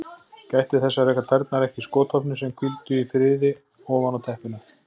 Gætti þess að reka tærnar ekki í skotvopnin sem hvíldu í friði ofan á teppinu.